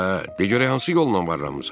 Hə, de görək hansı yolla varranmısan?